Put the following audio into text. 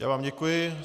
Já vám děkuji.